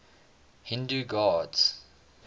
hindu gods